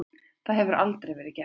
Það hefur aldrei verið gert.